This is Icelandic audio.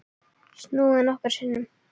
Snúið nokkrum sinnum.